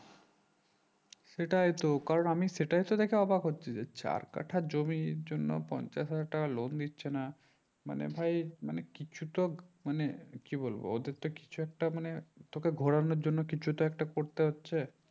সেটাই তো কারণ আমি সেটাই তো দেখে অবাক হচ্ছি যে চার কাঠা জমির জন্য পঞ্চাশ হাজার টাকা loan দিচ্ছে না মানে ভাই মানে কিছু তো মানে কি বলবো ওদের তো কিছু একটা মানে ঘোরানোর জন্য কিছু তো একটা করতে হচ্ছে